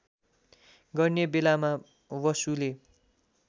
गर्ने बेलामा बसुले